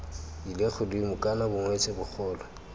ile godimo kana bongwetsi bogolo